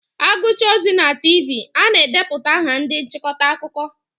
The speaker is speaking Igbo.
Aguchaa ozi na Tiivii a na-edeputa aha ndị nchịkọta akụkọ.